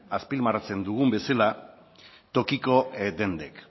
azpimarratzen dugun bezala tokiko dendek